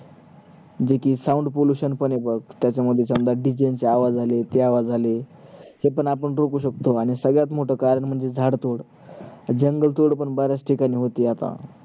जे कि sound pollution पण आहे बघ त्याच्यामुळे D J आवाज आले ह्याचे आवाज आले, हे पण आपण रोकु शकतो आणि सगळ्यात मोठ कारण म्हणजे झाड तोड जंगल तोड पण बऱ्याच ठिकाणी होते आता